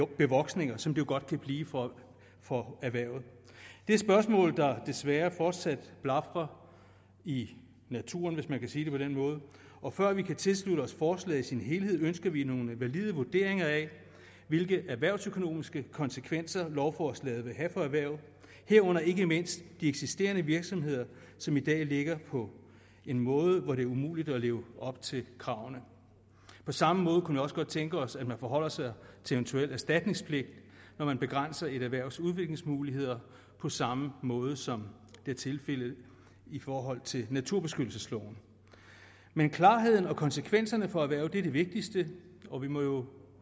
bevoksninger som det jo godt kan blive for erhvervet det er spørgsmål der desværre fortsat blafrer i naturen hvis man kan sige det på den måde og før vi kan tilslutte os forslaget som helhed ønsker vi nogle valide vurderinger af hvilke erhvervsøkonomiske konsekvenser lovforslaget vil have for erhvervet herunder ikke mindst de eksisterende virksomheder som i dag ligger på en måde hvor det er umuligt at leve op til kravene på samme måde kunne vi også godt tænke os at man forholder sig til eventuel erstatningspligt når man begrænser et erhvervs udviklingsmuligheder på samme måde som det er tilfældet i forhold til naturbeskyttelsesloven men klarheden og konsekvenserne for erhvervet er det vigtigste og vi må jo